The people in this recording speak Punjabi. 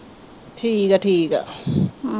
ਠੀਕ ਆ ਠੀਕ ਆ